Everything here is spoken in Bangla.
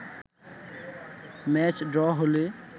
ম্যাচ ড্র হলে